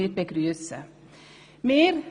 Das begrüssen wir.